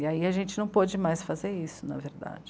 E aí a gente não pôde mais fazer isso, na verdade.